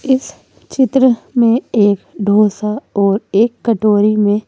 इस चित्र में एक डोसा और एक कटोरी में--